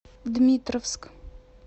дмитровск